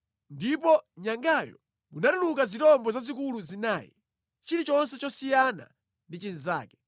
Ndipo mʼnyangayo munatuluka zirombo zazikulu zinayi, chilichonse chosiyana ndi chinzake.